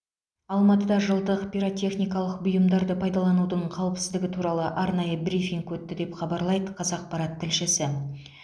алматыда жылдық пиротехникалық бұйымдарды пайдаланудың қауіпсіздігі туралы арнайы брифинг өтті деп хабарлайды қазақпарат тілшісі